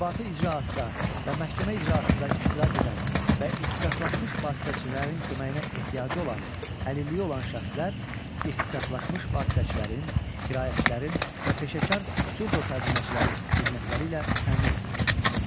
İnzibati icraatda və məhkəmə icraatında iştirak edən və ixtisaslaşmış vasitəçilərin köməyinə ehtiyacı olan əlilliyi olan şəxslər ixtisaslaşmış vasitəçilərin, kiraətçilərin və peşəkar surdo tərcüməçiləri xidmətləri ilə təmin edilir.